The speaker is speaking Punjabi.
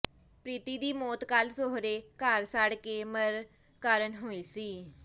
ਪ੍ਰੀਤੀ ਦੀ ਮੌਤ ਕੱਲ੍ਹ ਸਹੁਰੇ ਘਰ ਸੜ ਕੇ ਮਰਨ ਕਾਰਨ ਹੋਈ ਸੀ